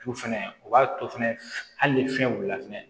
Tu fɛnɛ o b'a to fɛnɛ hali ni fɛn wulila fɛnɛ